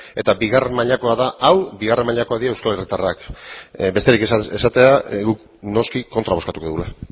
eta bigarren mailakoa da hau bigarren mailakoak dira euskal herritarrak besterik esatea guk noski kontra bozkatuko dugula